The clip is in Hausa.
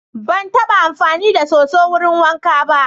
Ban taɓa amfani da soso wurin wanka ba.